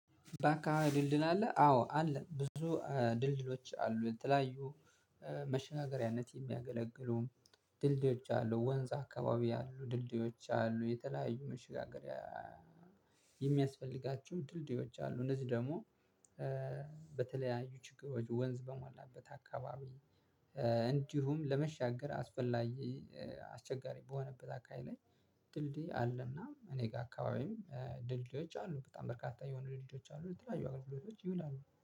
በአከባቢ ድልድል አለ። አዎ አለ ብዙ ድልድሎች አሉ የተለያዩ መሸጋገሪያነት የሚያገለግሉ ድልድዮች አሉ። ወንዝ አካባቢ ያሉ ድልድዮች አሉ። የተለያዩ መሸጋገሪያ የሚያስፈልጋችሁ ድልድዮች አሉ። እነዚህ ደግሞ በተለያዩ ችግሮች ወንዝ በሞላበት አካባቢ። እንዲሁም ለመሻገር አስፈላጊ አስቸጋሪ በሆነበት አካባቢ ላይ። ድልድይ አለና እኔ ጋር አካባቢ ድልድዮች አሉ በጣም በርካታ የሆኑ ድልድዮች አሉ። ለተለያዩ አገልግሎቶች ይውላሉ